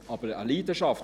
Aber eine Leidenschaft: